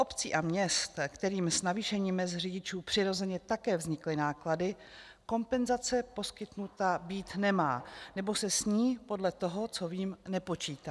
Obcí a měst, kterým s navýšením mezd řidičů přirozeně také vznikly náklady, kompenzace poskytnuta být nemá, nebo se s ní podle toho, co vím, nepočítá.